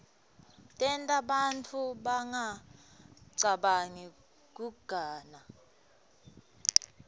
tenta bantfu bangacabangi kuganga